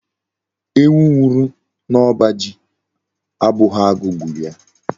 Ewu nwuru n'oba ji abughi agu gburu ya